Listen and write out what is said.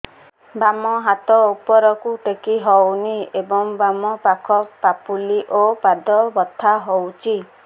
ବାମ ହାତ ଉପରକୁ ଟେକି ହଉନି ଏବଂ ବାମ ପାଖ ପାପୁଲି ଓ ପାଦ ବଥା ହଉଚି